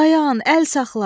Dayan, əl saxla.